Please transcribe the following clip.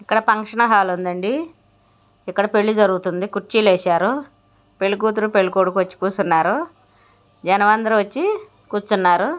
ఇక్కడ function hall ఉందండీ. ఇక్కడ పెళ్లి జరుగుతుంది. కుర్చీలేసారు. పెళ్లికూతురు పెళ్ళికొడుకు వచ్చి కూర్చున్నారు. జనం అందరూ వచ్చి కూర్చున్నారు.